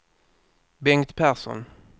Bengt Persson